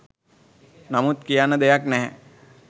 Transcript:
නමුත් කියන්න දෙයක් නැහැ